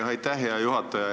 Aitäh, hea juhataja!